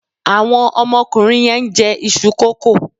Àwọn ọmọkùnrin yẹn ń jẹ iṣu kókò.